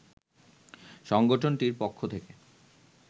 সংগঠনটির পক্ষ থেকে